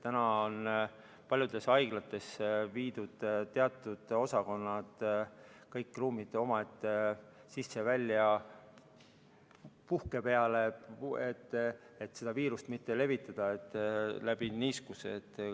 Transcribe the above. Nüüd on paljudes haiglates viidud teatud osakondade kõik ruumid omaette sisse- ja väljapuhke peale, et viirust mitte niiskuse kaudu levitada.